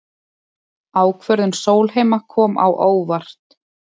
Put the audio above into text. Ákvörðun Sólheima kom á óvart